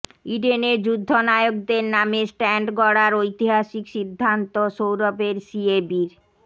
ইডেনে যুদ্ধ নায়কদের নামে স্ট্যান্ড গড়ার ঐতিহাসিক সিদ্ধান্ত সৌরভের সিএবির